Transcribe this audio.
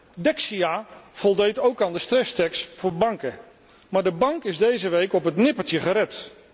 Ten derde Dexia voldeed ook aan de stresstest voor banken, maar de bank is deze week op het nippertje gered.